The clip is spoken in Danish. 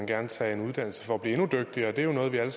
gerne tage en uddannelse for at blive endnu dygtigere det er noget vi alle